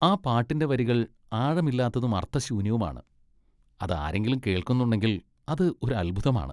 ആ പാട്ടിന്റെ വരികൾ ആഴമില്ലാത്തതും അർത്ഥശൂന്യവുമാണ്, അത് ആരെങ്കിലും കേൾക്കുന്നുണെങ്കിൽ അത് ഒരു അത്ഭുതമാണ്.